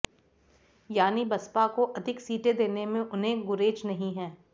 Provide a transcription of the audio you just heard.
यानी बसपा को अधिक सीटें देने में उन्हें गुरेज नहीं है